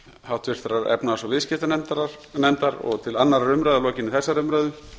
háttvirtrar efnahags og viðskiptanefndar og til annarrar umræðu að lokinni þessari umræðu